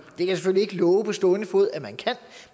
det kan ikke love på stående fod at man kan